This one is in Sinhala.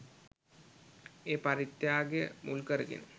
ඒ පරිත්‍යාගය මුල් කරගෙන